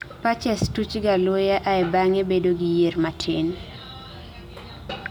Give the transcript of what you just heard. Patches tuchga luya ae bange bedo gi yier matin